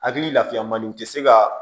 Hakili lafiya man di u tɛ se ka